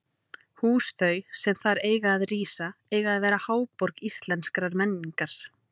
Hús þau, sem þar eiga að rísa, eiga að verða háborg íslenskrar menningar!